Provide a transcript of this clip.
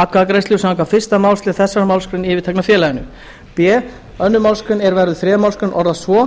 atkvæðagreiðslu samkvæmt fyrstu málsl þessarar málsgreinar í yfirtekna félaginu b önnur málsgrein er verður þriðja málsgrein orðast svo